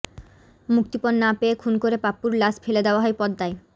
মুক্তিপণ না পেয়ে খুন করে পাপ্পুর লাশ ফেলে দেয়া হয় পদ্মায়